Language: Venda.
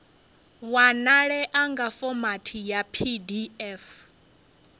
wanalea nga fomathi ya pdf